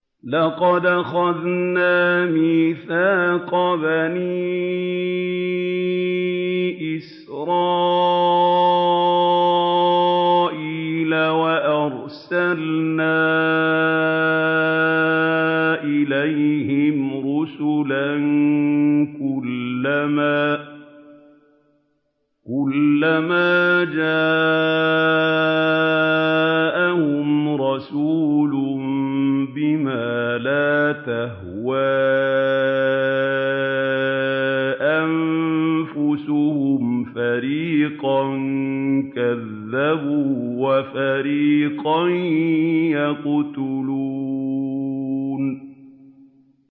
لَقَدْ أَخَذْنَا مِيثَاقَ بَنِي إِسْرَائِيلَ وَأَرْسَلْنَا إِلَيْهِمْ رُسُلًا ۖ كُلَّمَا جَاءَهُمْ رَسُولٌ بِمَا لَا تَهْوَىٰ أَنفُسُهُمْ فَرِيقًا كَذَّبُوا وَفَرِيقًا يَقْتُلُونَ